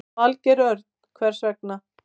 Valgeir Örn: Hvers vegna?